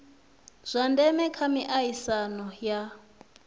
zwa ndeme kha miaisano ya